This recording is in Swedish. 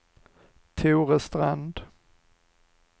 Tore Strand